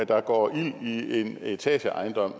der går ild i en etageejendom